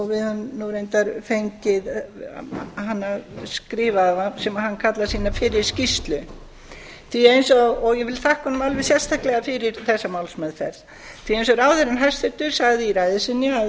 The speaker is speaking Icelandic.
við höfum reyndar kallað hana skrifaða sem hann kallar sína fyrri skýrslu og ég vil þakka honum alveg sérstaklega fyrir þessa málsmeðferð eins og hæstvirtur ráðherra sagði í ræðu sinni að